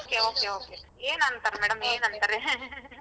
Okay okay okay ಏನ್ ಅಂತಾರ್ madam ಏನ್ ಅಂತಾರೆ .